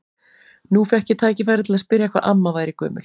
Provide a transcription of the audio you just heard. Nú fékk ég tækifæri til að spyrja hvað amma væri gömul.